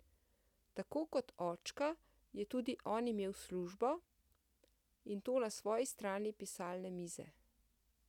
Tako kot očka je tudi on imel službo, in to na svoji strani pisalne mize.